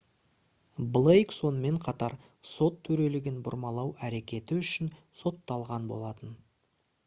блейк сонымен қатар сот төрелігін бұрмалау әрекеті үшін сотталған болатын